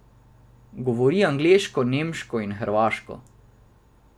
Govori angleško, nemško in hrvaško.